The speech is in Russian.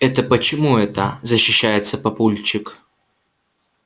это почему это защищается папульчик